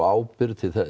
ábyrgð